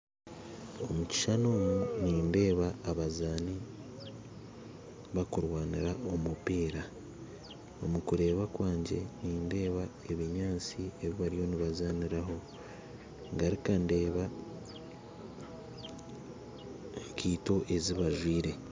Omu kishushani omu eki abazaani bakurwaniira omu mupiira omu kureeba kwangye, nindeeba ebinyasti ebi bariyo nibazaaniraho, ngaruka ndeeba enkaito ezi bajwire